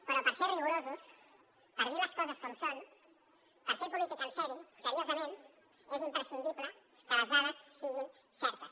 però per ser rigorosos per dir les coses com són per fer política seriosament és imprescindible que les dades siguin certes